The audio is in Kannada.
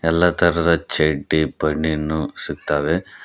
ಎಲ್ಲ ತರದ ಚಡ್ಡಿ ಬನಿನ್ ಸಿಕ್ತಾವೆ.